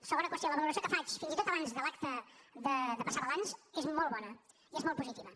segona qüestió la valoració que faig fins i tot abans de l’acte de passar balanç és molt bona i és molt positiva